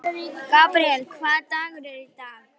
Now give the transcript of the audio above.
Gabríel, hvaða dagur er í dag?